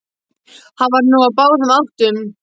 Hann var nú á báðum áttum.